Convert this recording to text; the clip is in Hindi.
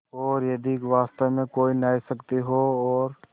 और यदि वास्तव में कोई न्यायशक्ति हो और